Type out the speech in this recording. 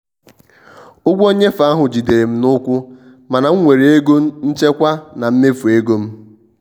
ụgwọ nnyefe ahụ jidere m n'ụkwụ mana m nwere ego nchekwa na mmefu ego m.